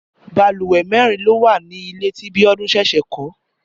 Bàlùwẹ̀ mẹ́rin ló wà ní ilé tí Bíọ́dún ṣẹ̀ṣẹ̀ kọ́